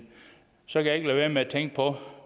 så kan jeg ikke lade være med at tænke på